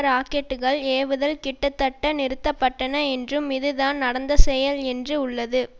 ராக்கெட்டுக்கள் ஏவுதல் கிட்டத்தட்ட நிறுத்த பட்டன என்றும் இதுதான் நடந்துசெயல் என்று உள்ளது